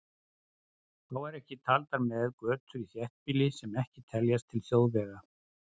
Þá eru ekki taldar með götur í þéttbýli sem ekki teljast til þjóðvega.